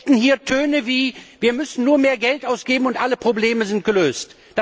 Plötzlich gelten hier Töne wie Wir müssen nur mehr Geld ausgeben und alle Probleme sind gelöst.